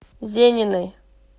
зениной